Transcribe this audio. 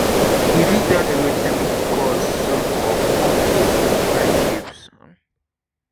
you fit tell me wetin be di cause um of conflict in friendship? um